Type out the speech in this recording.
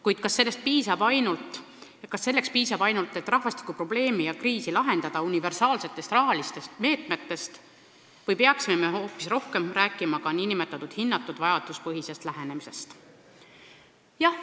Kuid kas selleks, et rahvastikuprobleemi ja -kriisi lahendada, piisab ainult universaalsetest rahalistest meetmetest või peaksime me hoopis rohkem rääkima ka nn hinnatud vajaduspõhisest lähenemisest?